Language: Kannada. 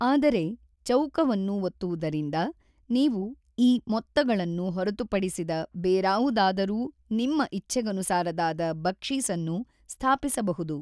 ಆದರೆ, ಚೌಕವನ್ನು ಒತ್ತುವುದರಿಂದ ನೀವು ಈ ಮೊತ್ತಗಳನ್ನು ಹೊರತುಪಡಿಸಿದ ಬೇರಾವುದಾದರೂ ನಿಮ್ಮ ಇಚ್ಛೆಗನುಸಾರದಾದ ಬಕ್ಷೀಸನ್ನು ಸ್ಥಾಪಿಸಬಹುದು.